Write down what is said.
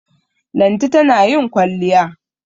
Lanti tana yin kwalliya.